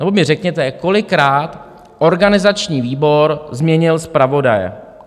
Nebo mi řekněte, kolikrát organizační výbor změnil zpravodaje?